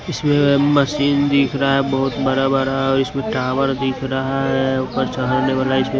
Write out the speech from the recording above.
इसमें वह मशीन दिख रहा है बहुत बड़ा-बड़ा और इसमें टावर दिख रहा है ऊपर चढ़ने वाला है इसमें--